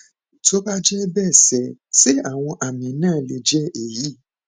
tó bá jẹ bẹẹ ṣé ṣé àwọn àmì náà lè jẹ èyí